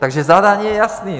Takže zadání je jasné.